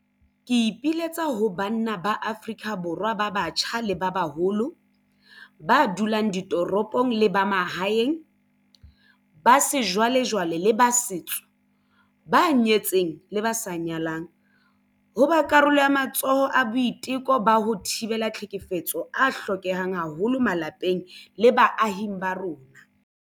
Ke ipiletsa ho banna ba Afrika Borwa ba batjha le ba baholo, ba dulang ditoropong le ba mahaeng, ba sejwalejwale le ba setso, ba nyetseng le ba sa nyalang, ho ba karolo ya matsholo a boiteko ba ho thibela tlhekefetso a hlokehang haholo malapeng le baahing ba rona.